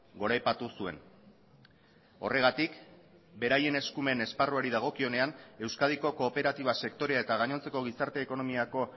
goraipatu zuen horregatik beraien eskumen esparruari dagokionean euskadiko kooperatiba sektorea eta gainontzeko gizarte ekonomiako